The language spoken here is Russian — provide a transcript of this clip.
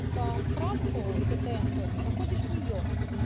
это отправку тнк-у это заходишь в нее